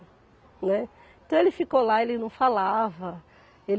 Né, então, ele ficou lá, ele não falava, ele.